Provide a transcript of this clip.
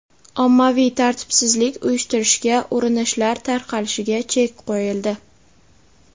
ommaviy tartibsizlik uyushtirishga urinishlar tarqalishiga chek qo‘yildi.